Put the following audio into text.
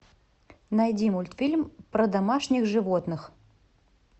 найди мультфильм про домашних животных